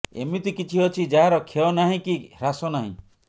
ଏମିତି କିଛି ଅଛି ଯାହାର କ୍ଷୟ ନାହିଁ କି ହ୍ରାସ ନାହିଁ